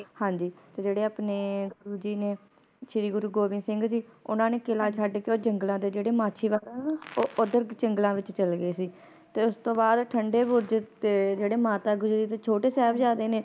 ਹਾਂਜੀ ਤੇ ਜਿਹੜੇ ਆਪਣੇ ਗੁਰੂ ਜੀ ਨੇ ਸ਼੍ਰੀ ਗੁਰੂ ਗੋਬਿੰਦ ਸਿੰਘ ਜੀ ਓਹਨਾ ਨੇ ਕਿਲਾ ਛੱਡ ਕੇ ਓ ਜੰਗਲਾਂ ਦੇ ਜਿਹੜੇ ਮਾਝੀ ਵੱਲ ਓਧਰ ਜੰਗਲਾਂ ਵਿੱਚ ਚੱਲੇ ਗਏ ਸੀ ਤੇ ਉਸ ਤੋਂ ਬਾਅਦ ਠੰਡੇ ਬੁਰਜੇ ਤੇ ਜਿਹੜੇ ਮਾਤਾ ਗੁਜਰੀ ਜੀ ਤੇ ਛੋਟੇ ਸਾਹਿਬਜਾਦੇ ਨੇ ਹਾਂਜੀ